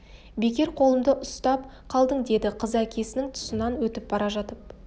бекер қолымды ұстап қалдың деді қызы әкесінің тұсынан өтіп бара жатып